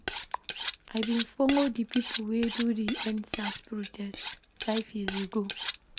I bin folo di pipo wey do di Endsars protest five years ago.